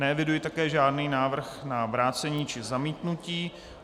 Neeviduji také žádný návrh na vrácení či zamítnutí.